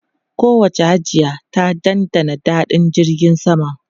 Kowacce Hajiya ta dandana daɗin jirgin sama.